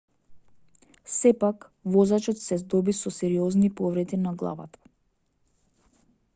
сепак возачот се здоби со сериозни повреди на главата